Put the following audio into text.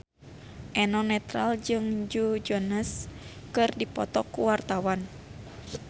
Eno Netral jeung Joe Jonas keur dipoto ku wartawan